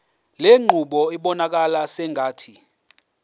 lenqubo ibonakala sengathi